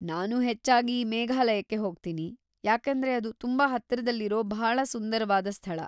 ನಾನು ಹೆಚ್ಚಾಗಿ ಮೇಘಾಲಯಕ್ಕೆ ಹೋಗ್ತೀನಿ, ಯಾಕೇಂದ್ರೆ ಅದು ತುಂಬಾ ಹತ್ತಿರದಲ್ಲಿರೋ ಭಾಳ ಸುಂದರವಾದ ಸ್ಥಳ.